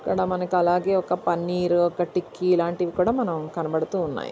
ఇక్కడ మనకు అలాగే ఒక పన్నీరు ఒక టిక్కి ఇలాంటివి మనం కనబడుతున్నాయి.